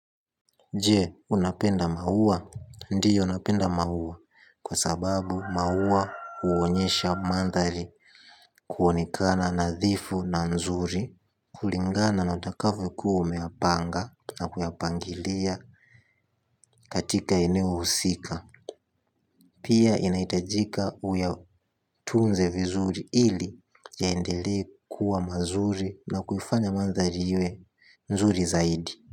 Je, unapenda maua? Ndiyo napenda maua kwa sababu maua huonyesha mandhari kuonekana nadhifu na nzuri. Kulingana na utakavyokuwa umeyapanga na kuyapangilia katika eneo husika. Pia inahitajika uyatunze vizuri ili yaendelee kuwa mazuri na kuifanya mandhari iwe nzuri zaidi.